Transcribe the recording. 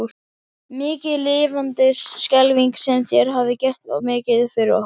Mikið lifandis skelfing sem þér hafið gert mikið fyrir okkur.